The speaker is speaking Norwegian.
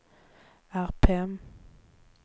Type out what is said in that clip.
RPM